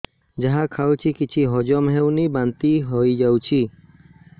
ଯାହା ଖାଉଛି କିଛି ହଜମ ହେଉନି ବାନ୍ତି ହୋଇଯାଉଛି